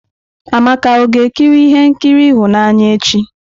Amaka ọ ga-ekiri ihe nkiri ịhụnanya echi?